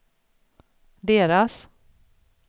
deras